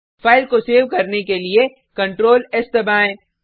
file को save करने के लिए ctrls दबाएँ